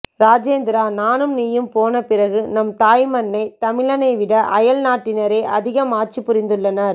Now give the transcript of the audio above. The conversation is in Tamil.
ராஜேந்திரா நானும் நீயும் போன பிறகு நம் தாய் மண்ணை தமிழனை விட அயல் நாட்டினரே அதிகமாக ஆட்சி புரிந்துள்ளனர்